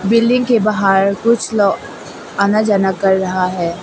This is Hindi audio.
बिल्डिंग के बाहर कुछ लोग आना जाना कर रहा है।